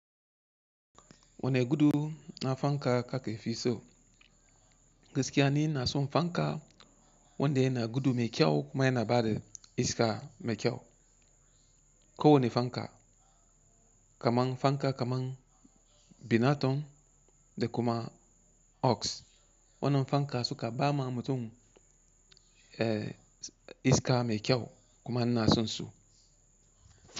Wane gudu na fanka ka ke fi so? Gaskiya ni ina son fanka wanda yana gudu mai kyau kuma yana ba da iska mai kyau. Ko wane fanka, kamar fanka kamar binaton da kuma OX, wannan fanka suka ba ma mutum eh iska mai kyau kuma ina san su.